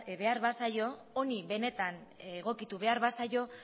behar bazaio honi benetan egokitu behar bazaio